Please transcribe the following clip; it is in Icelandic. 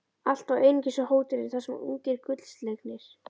Alltaf og einungis á hótelið, þar sem ungir gullslegnir